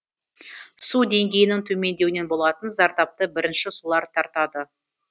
су деңгейінің төмендеуінен болатын зардапты бірінші солар тартады